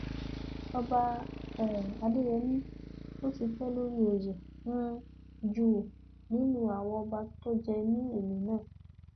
ọba um adéyẹmi ló tì í pé lórí oyè um jù nínú àwọn ọba tó jẹ ní ìlú náà